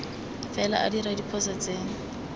fela a dira diphoso tse